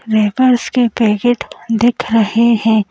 Wafers के packet दिख रहे हैं।